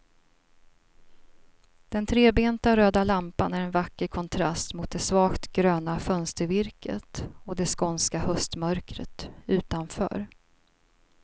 Den trebenta röda lampan är en vacker kontrast mot det svagt gröna fönstervirket och det skånska höstmörkret utanför.